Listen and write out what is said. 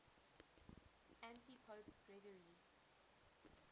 antipope gregory